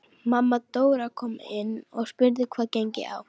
Mamma Dóra kom inn og spurði hvað gengi á.